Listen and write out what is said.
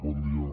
bon dia